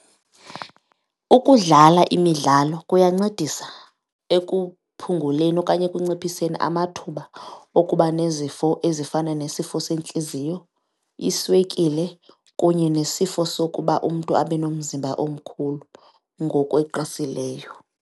Ukudlala imidlalo kuyancedisa ekuphunguleni okanye ekunciphiseni amathuba okuba nezifo ezifana nesifo sentliziyo, iswekile kunye nesifo sokuba umntu abe nomzimba omkhulu ngokweqisileyo.